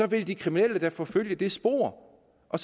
vil de kriminelle da forfølge det spor og